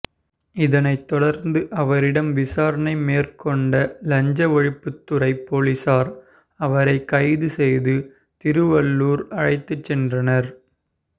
இதனை தொடா்ந்து அவரிடம் விசாரணை மேற்கொண்ட லஞ்ச ஒழிப்புத்துறை போலீஸாா் அவரை கைது செய்து திருவள்ளூா் அழைத்து சென்றனா்